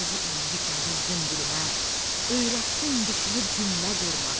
Sözü inci kimi düzdün dilimə, öyrətdin düşünüb cümlə qurmağı.